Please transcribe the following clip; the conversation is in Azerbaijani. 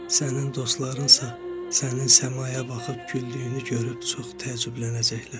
Sənin dostlarınsa sənin səmaya baxıb güldüyünü görüb çox təəccüblənəcəklər.